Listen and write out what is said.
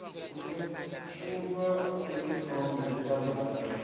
kutfwetjulwa kwetitfombe tebadlali